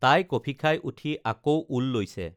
তাই কফি খাই উঠি আকৌ ঊল লৈছে